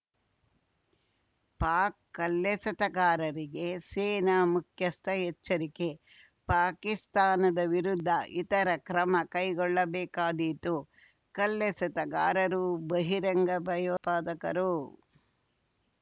ಪಾಕ್‌ ಕಲ್ಲೆಸೆತಗಾರರಿಗೆ ಸೇನಾ ಮುಖ್ಯಸ್ಥ ಎಚ್ಚರಿಕೆ ಪಾಕಿಸ್ತಾನದ ವಿರುದ್ಧ ಇತರ ಕ್ರಮ ಕೈಗೊಳ್ಳಬೇಕಾದೀತು ಕಲ್ಲೆಸೆತಗಾರರು ಬಹಿರಂಗ ಭಯೋತ್ಪಾದಕರು